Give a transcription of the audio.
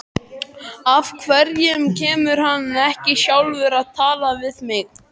Af hverju kemur hann ekki sjálfur og talar við mig?